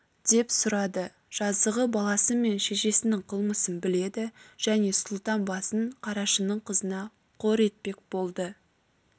деп сұрады жазығы баласы мен шешесінің қылмысын біледі және сұлтан басын қарашының қызына қор етпек болды